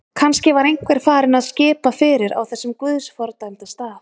Kannski var einhver farinn að skipa fyrir á þessum guðs fordæmda stað.